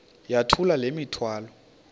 yithula le mithwalo